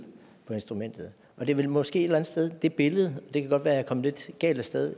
på instrumentet det er vel måske et eller andet sted det billede der det kan godt være at jeg kom lidt galt af sted